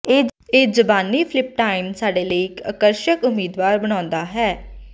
ਇਹ ਜ਼ਬਾਨੀ ਫਲੱਪਿਟਾਈਨ ਸਾਡੇ ਲਈ ਇੱਕ ਆਕਰਸ਼ਕ ਉਮੀਦਵਾਰ ਬਣਾਉਂਦਾ ਹੈ